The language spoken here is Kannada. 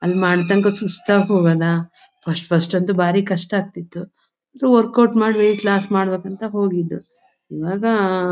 ಅಲ್ಲಿ ಮಾಡತಕ್ಕ ಸುಸ್ತು ಆಗಹೋಗದ ಫಸ್ಟ್ ಫಸ್ಟ್ ಅಂತೂ ಬಾರಿ ಕಷ್ಟಆಗತ್ತಿತು ಸೊ ವರಿಕ್ ಔಟ್ ಮಾಡಿ ವೆಯಿಟ್ ಲಾಸ್ ಮಾಡಬೇಕಂತ ಹೋಗಿದು ಇವಾಗ.